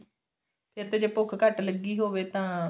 ਫਿਰ ਤੇ ਜੇ ਭੁੱਖ ਘੱਟ ਲੱਗੀ ਹੋਵੇ ਤਾਂ